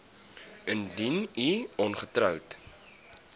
indien u ongetroud